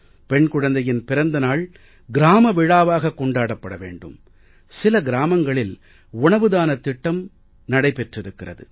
பெண் குழந்தையின் பிறந்த நாள் கிராம விழாவாக கொண்டாடப் பட வேண்டும் சில கிராமங்களில் உணவுதானத் திட்டம் நடைபெற்றிருக்கிறது